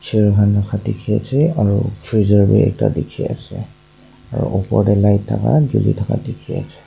dekhi ase aro freezer bhi ekta dekhi ase aro upor tey light thaka jhuli thaka dekhi ase.